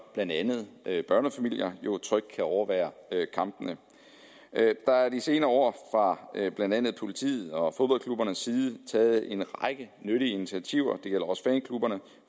blandt andet børnefamilier trygt kan overvære kampene der er de senere år fra blandt andet politiets og fodboldklubbernes side og taget en række nyttige initiativer